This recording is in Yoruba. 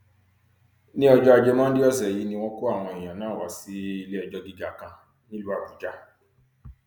ní ọjọ ajé monde ọsẹ yìí ni wọn kó àwọn èèyàn náà wá sí iléẹjọ gíga kan nílùú àbújá